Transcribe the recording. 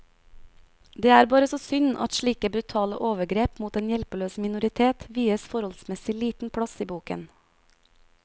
Det er bare så synd at slike brutale overgrep mot en hjelpeløs minoritet vies forholdsmessig liten plass i boken.